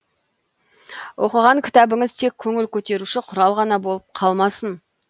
оқыған кітабыңыз тек көңіл көтеруші құрал ғана болып қалмасын